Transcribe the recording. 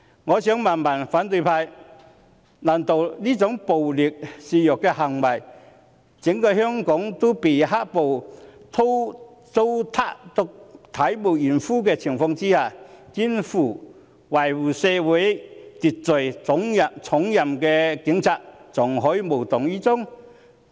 我想問反對派，難道在這種暴力肆虐，整個香港也被"黑暴"糟蹋至體無完膚的情況下，肩負維持社會秩序重任的警察，還可以無動於衷？